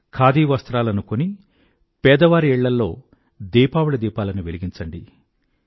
ఖాదీ వస్త్రాలని కొని పేదవారి ఇళ్లల్లో దీపావళి దీపాలను వెలిగించండి